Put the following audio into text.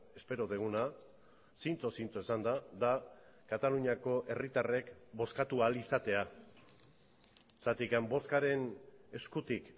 espero duguna zintzo zintzo esanda da kataluniako herritarrek bozkatu ahal izatea zergatik bozkaren eskutik